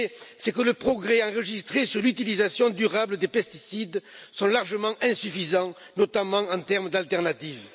C'est que les progrès enregistrés sur l'utilisation durable des pesticides sont largement insuffisants, notamment en termes d'alternatives.